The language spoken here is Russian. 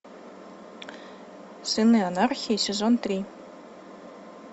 сыны анархии сезон три